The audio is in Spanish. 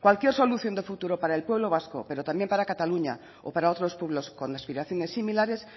cualquier solución de futuro para el pueblo vasco pero también para cataluña o para otros pueblos con aspiraciones similares